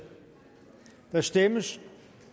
der stemmes